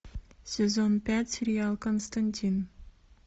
сезон пять сериал константин